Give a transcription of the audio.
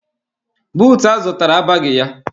Buutu a zụtara abaghị ya.